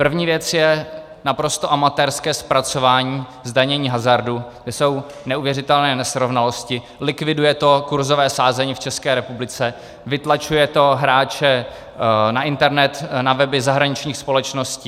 První věc je naprosto amatérské zpracování zdanění hazardu, kde jsou neuvěřitelné nesrovnalosti, likviduje to kurzové sázení v České republice, vytlačuje toho hráče na internet, na weby zahraničních společností.